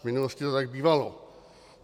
V minulosti to tak bývalo.